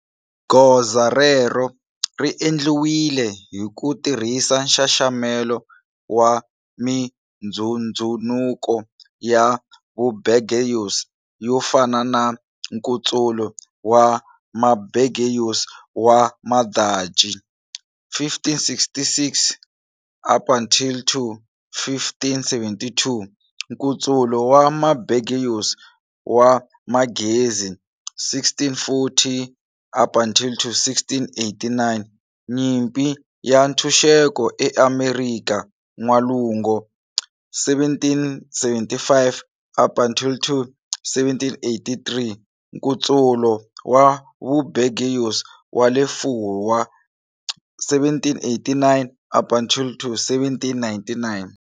Goza rero ri endliwile hi ku tirhisa nxaxamelo wa mindzhundzunuko ya vubourgeois yo fana na-Nkutsulo wa Maburgeois wa Madachi, 1566-1572, Nkutsulo wa Maburgeois wa Manghezi, 1640-1689, Nyimpi ya Ntshunxeko eAmerika N'walungu, 1775-1783, Nkutsulo wa Vubourgeois wa le Furwa, 1789-1799.